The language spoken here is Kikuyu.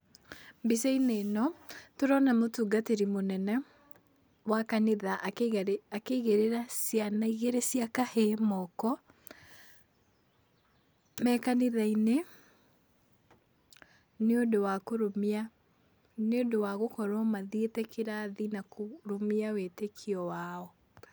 Mbica-inĩ ĩno tũrona mũtungatĩrĩ mũnene, wa kanitha akĩigĩrĩra ciana igĩrĩ cia kahĩĩ moko, me kanitha-inĩ nĩũndũ wa kũrũmia, nĩũndũ wa gũkorwo mathiĩte kĩrathi na kũrũmia wĩtĩkio wao.